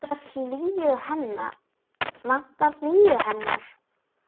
Vantar hlýju hennar.